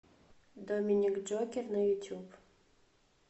доминик джокер на ютюб